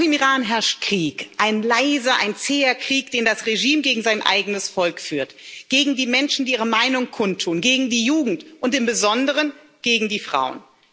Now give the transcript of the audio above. Auch im Iran herrscht Krieg, ein leiser, ein zäher Krieg, den das Regime gegen sein eigenes Volk führt, gegen die Menschen, die ihre Meinung kundtun, gegen die Jugend und im Besonderen gegen die Frauen.